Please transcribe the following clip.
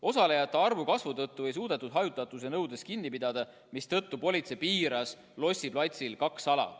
Osalejate arvu kasvu tõttu ei suudetud hajutatuse nõudest kinni pidada, mistõttu politsei piiras Lossi platsil kaks ala.